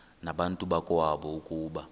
nabantu bakowabo ukuba